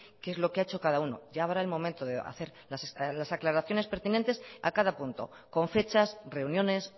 qué es lo que ha hecho cada uno ya habrá el momento de hacer las aclaraciones pertinentes a cada punto con fechas reuniones